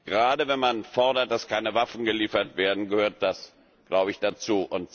Gerade wenn man fordert, dass keine Waffen geliefert werden, gehört das, glaube ich, dazu.